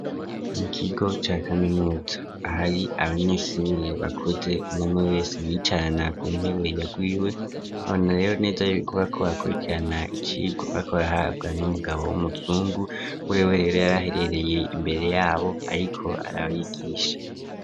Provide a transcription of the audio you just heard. Mu kigo ca kaminuza ahari abanyeshure bakuze umwume wese yiyicarana ku ntebe yagwiwe ona rero neza bokuba ko bakurikirana ikigo bakorahabwa n'umugabo w'umuzungu wewe rero yaraherereye imbere yabo ariko arabayigisha.